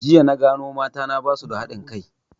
Jiya na gano mata na basu da haɗin kai